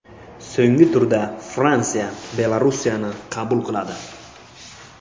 So‘nggi turda Fransiya Belarusni qabul qiladi.